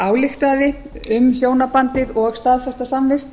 ályktaði um hjónabandið og staðfesta samvist